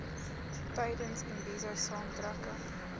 tydens imbizo saamtrekke